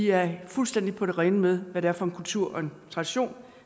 er fuldstændig på det rene med hvad det er for en kultur og tradition